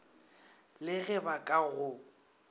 le ge ba ka go